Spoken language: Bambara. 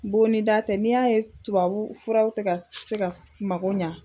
Bonnida tɛ n'i y'a ye tubabu furaw te ga se ga mago ɲa